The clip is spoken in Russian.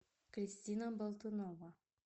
кристина болтунова